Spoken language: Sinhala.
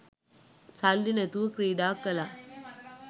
සල්ලි නැතුව ක්‍රීඩා කළා